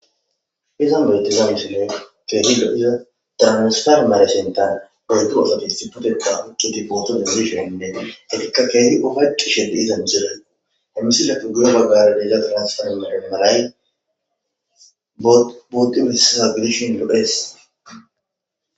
Mizan beltimaarsine teenidodiza damasfal mare sentan oytoosatis xiputeka ikkiti pootodimishon ineene etikka keeni ohaccu shede iza micidayku hemmisile pugiyo baggare deelza transfal mare malay bootimisaa gidishin ddodhes.